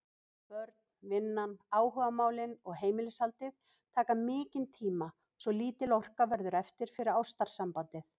Börnin, vinnan, áhugamálin og heimilishaldið taka mikinn tíma svo lítil orka verður eftir fyrir ástarsambandið.